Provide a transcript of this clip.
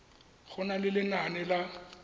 go na le lenane la